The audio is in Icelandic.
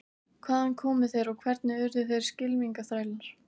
Hvaðan komu þeir og hvernig urðu þeir skylmingaþrælar?